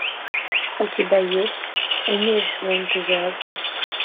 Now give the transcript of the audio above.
у тебя есть умерь свой энтузиазм